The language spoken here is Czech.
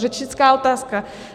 Řečnická otázka.